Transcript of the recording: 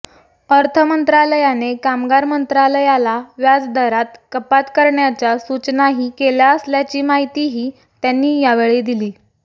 अर्थ मंत्रालयाने कामगार मंत्रालयाला व्याज दरात कपात करण्याच्या सूचनाही केल्या असल्याची माहितीही त्यांनी यावेळी दिली